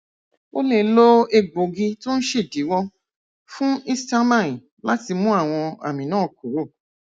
o lè lo egbòogi tó ń ṣèdíwọ fún histamine láti mú àwọn àmì náà kúrò